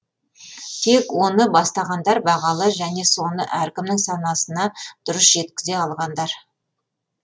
тек оны бастағандар бағалы және соны әркімнің санасына дұрыс жеткізе алғандар